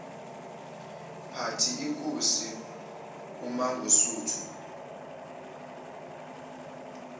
party inkosi umangosuthu